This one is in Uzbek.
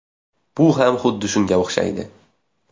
Bu ham xuddi shunga o‘xshaydi.